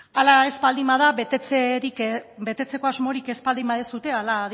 hala ez baldin bada betetzeko asmorik ez baldin baduzue hala